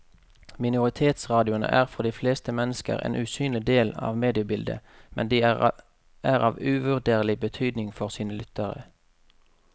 Minoritetsradioene er for de fleste mennesker en usynlig del av mediebildet, men de er av uvurderlig betydning for sine lyttere.